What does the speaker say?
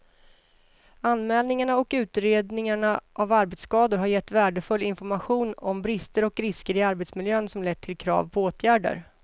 Anmälningarna och utredningarna av arbetsskador har gett värdefull information om brister och risker i arbetsmiljön som lett till krav på åtgärder.